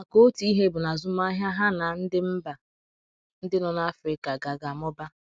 maka Otu ihe bụ na azụmahịa ha na ndi mba ndị nọ na Afrika ga - ga - amụba.